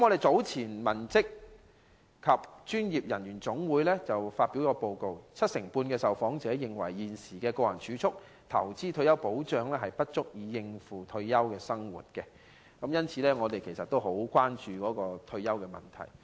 早前，香港文職及專業人員總會發表報告，七成半受訪者認為現時的個人儲蓄、投資及退休保障不足以應付退休生活，因此我們十分關注退休問題。